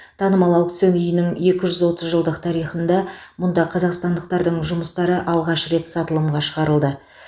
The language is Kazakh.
танымал аукцион үйінің екі жүз отыз жылдық тарихында мұнда қазақстандықтардың жұмыстары алғаш рет сатылымға шығарылды